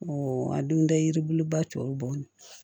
a dun tɛ yiri bulu ba tɔw bɔ